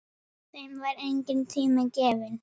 Þeim var enginn tími gefinn.